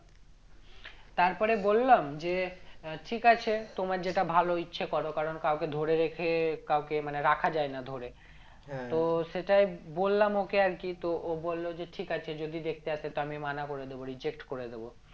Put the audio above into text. তারপরে বললাম যে আহ ঠিক আছে তোমার যেটা ভালো ইচ্ছা করো কারণ কাওকে ধরে রেখে কাওকে মানে রাখা যায়না ধরে তো সেটাই বললাম ওকে আরকি তো ও বললো যে ঠিক আছে যদি দেখতে আসে তো আমি মানা করে দেব reject করে দেব